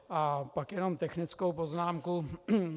A pak jenom technickou poznámku.